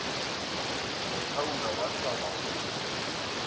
mo thaula wa swaba go